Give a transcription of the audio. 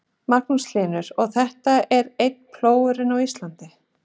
Magnús Hlynur: Og þetta er eini plógurinn á Íslandi?